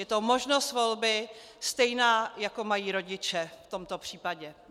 Je to možnost volby stejná, jako mají rodiče v tomto případě.